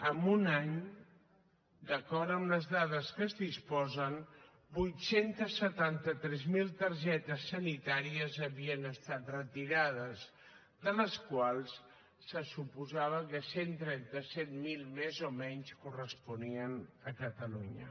en un any d’acord amb les dades de què es disposa vuit cents i setanta tres mil targetes sanitàries havien estat retirades de les quals se suposava que cent i trenta set mil més o menys corresponien a catalunya